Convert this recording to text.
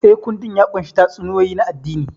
Eh, kundin ya ƙunshi tatsuniyoyi na addini.